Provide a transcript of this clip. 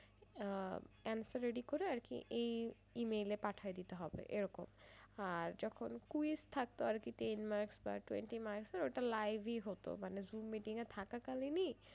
আহ answer ready করে আরকি এই E mail এ পাঠায় দিতে হবে এরকম আর যখন quiz থাকতো আরকি তিন marks বা twenty marks এর ওটা live ই হতো মানে zoommeeting এ থাকা কালীনই,